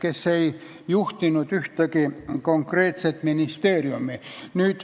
Nemad ei juhtinud ühtegi konkreetset ministeeriumi.